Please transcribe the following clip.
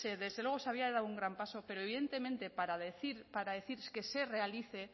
desde luego se había dado un gran paso pero evidentemente para decir que se realice